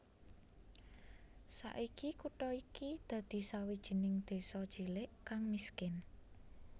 Saiki kutha iki dadi sawijining désa cilik kang miskin